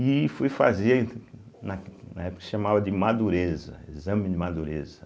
E fui fazer, na na época chamava de Madureza, Exame de Madureza.